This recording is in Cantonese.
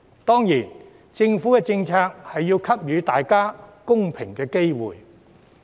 當然，政府政策亦要給予大家公平的機會。